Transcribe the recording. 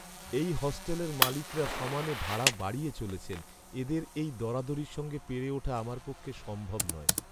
এই হোস্টেলের মালিকরা সমানে ভাড়া বাড়িয়ে চলেছেন, এঁদের এই দরাদরির সঙ্গে পেরে ওঠা আমার পক্ষে সম্ভব নয়।